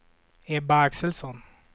Ebbe Axelsson